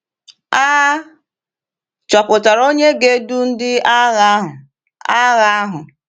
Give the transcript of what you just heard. A chọpụtara onye ga-edu ndị agha ahụ. agha ahụ.